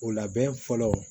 O labɛn fɔlɔ